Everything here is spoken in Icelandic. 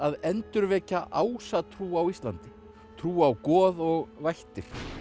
endurvekja ásatrú á Íslandi trú á goð og vættir